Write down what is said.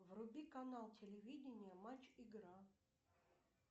вруби канал телевидения матч игра